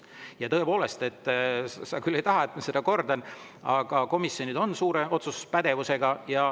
Ja tõepoolest, sa küll ei taha, et ma seda kordan, aga komisjonid on suure otsustuspädevusega.